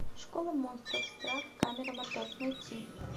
школа монстров страх камера мотор найти